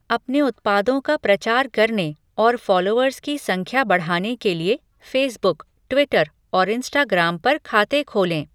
अपने उत्पादों का प्रचार करने और फॉलोअर्स की संख्या बढ़ाने के लिए फेसबुक, ट्विटर और इंस्टाग्राम पर खाते खोलें।